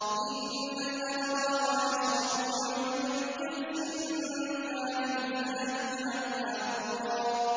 إِنَّ الْأَبْرَارَ يَشْرَبُونَ مِن كَأْسٍ كَانَ مِزَاجُهَا كَافُورًا